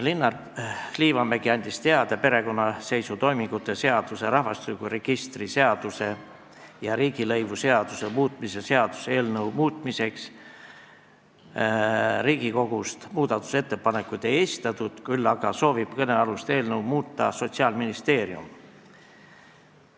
Linnar Liivamägi andis teada, et perekonnaseisutoimingute seaduse, rahvastikuregistri seaduse ja riigilõivuseaduse muutmise seaduse eelnõu muutmiseks Riigikogust muudatusettepanekuid ei esitatud, küll aga soovib kõnealust eelnõu muuta Sotsiaalministeerium.